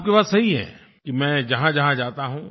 आपकी बात सही है कि मैं जहाँजहाँ जाता हूँ